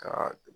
Ka